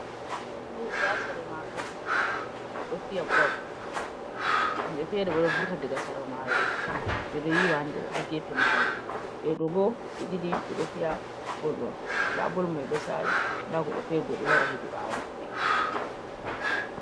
Nda himɓe ha Sere Mayo ɓe ɗo Fi'a bol. himɓe fere bo ɗo Vurta daga Sera mayo.ɓe ɗo yiwa ha nder ha gefe mayo. Ɓe ɗobo ɓe ɗiɗi ɓe ɗo Fiya bol'on nda Bol mai ɗon Sala nda godɗo Fere bo ɗo wara hedi ɓawo Mabɓe.